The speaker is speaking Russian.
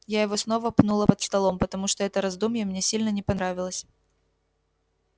я его снова пнула под столом потому что это раздумье мне сильно не понравилось